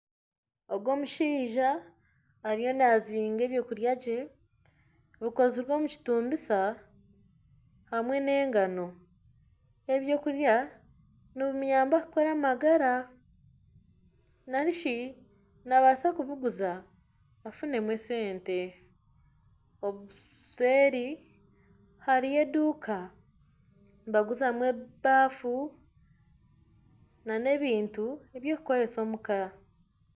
Ogu omushaija ariyo naazinga eby'okurya bye bikozire omu kitumbisa hamwe n'engano, ebi ebyokurya nibimuyamba kukora amagara nari shi naabaasa kubiguza afunemu esente obuseeri hariyo eduuka nibaguzamu ebaafu nana ebintu eby'okukoresa omuka